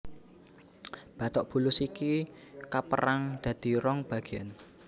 Batok bulus iku kapérang dadi rong bagéan